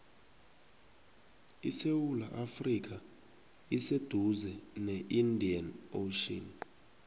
isewula afrika iseduze ne indian ocean